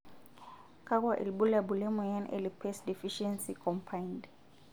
kakua irbulabol le moyian e Lipase deficiency combined?